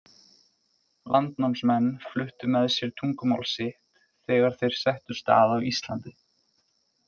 Landnámsmenn fluttu með sér tungumál sitt þegar þeir settust að á Íslandi.